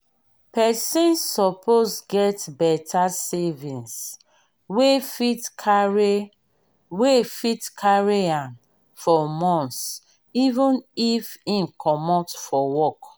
person suppose get better savings wey fit carry wey fit carry am for months even if im comot for work